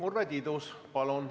Urve Tiidus, palun!